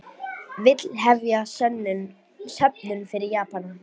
Vill hefja söfnun fyrir Japana